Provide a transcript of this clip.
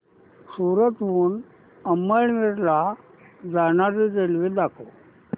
सूरत हून अमळनेर ला जाणारी रेल्वे दाखव